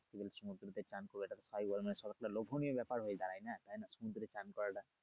গভীর সমুদ্রতে স্নান করবে তারপর লোভনীয় ব্যাপার হয়ে দাঁড়ায় না তাইনা সমুদ্রে স্নান করাটা